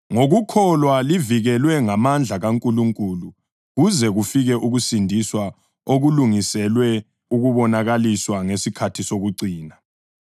Ngokukholwa livikelwe ngamandla kaNkulunkulu kuze kufike ukusindiswa okulungiselwe ukubonakaliswa ngesikhathi sokucina.